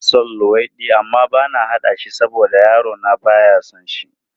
Ina son luwaiɗi amma bana haɗa shi saboda yarona ba ya son shi.